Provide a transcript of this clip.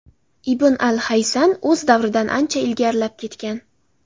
Ibn al-Haysam o‘z davridan ancha ilgarilab ketgan.